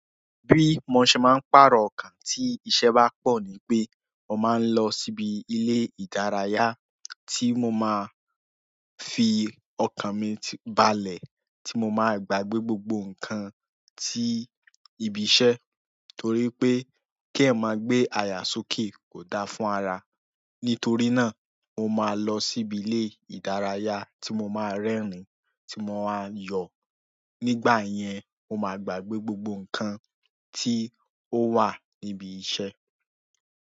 Bí mo ṣe máa ń pàrọ̀ ọkàn tí iṣẹ́ bá pọ̀ ni pé mo máa ń lọ síbi ilé ìdárayá ti mo maa fi okan mi balẹ̀ ti mo maa gbagbe gbogbo nkan ti ibi iṣẹ́, torí pe ke'eyan ma gbe aya sókè ko da fún ara. Nítorí náà mo máa lọ síbi ilé ìdárayá tí mo máa rẹ́rìn-ín, tí mo máa yọ̀. Nígbà yẹn, mo máa gbàgbé gbogbo nǹkan tí ó wà níbi iṣẹ́.